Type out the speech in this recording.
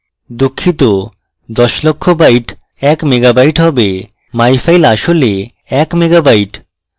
দুঃখিত দশ লক্ষ bits এক megabyte হয় myfile আসলে এক mega byte